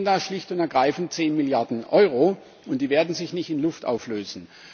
Dann fehlen da schlicht und ergreifend 10 Milliarden Euro, und die werden sich nicht in Luft auflösen.